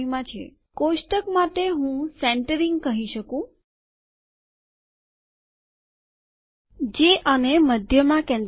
કોષ્ટક માટે હું સેન્તેરીંગ કહી શકું જે આ મધ્યમાં કેન્દ્રિત થશે